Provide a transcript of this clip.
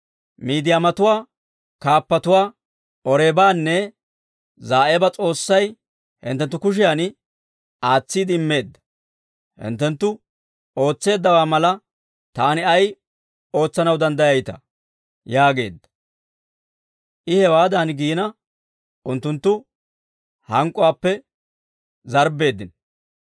Miidiyaamatuwaa kaappatuwaa, Oreebanne Za'eeba S'oossay hinttenttu kushiyan aatsiide immeedda. Hinttenttu ootseeddawaa mala, taani ay ootsanaw danddayayitaa?» yaageedda. I hewaadan giina, unttunttu hank'k'uwaappe zarbbeeddino.